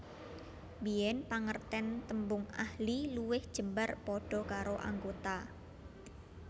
Biyen pangerten tembung ahli luwih jembar padha karo anggota